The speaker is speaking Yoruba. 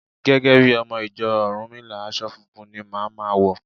Gẹ́gẹ́ bí ọmọ ìjọ Rúnmìlà, aṣọ funfun ni màá ma wọ̀.